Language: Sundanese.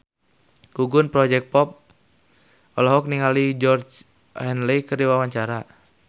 Gugum Project Pop olohok ningali Georgie Henley keur diwawancara